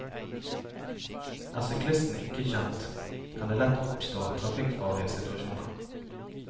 Er syklisten ikke kjent, kan det lett oppstå trafikkfarlige situasjoner.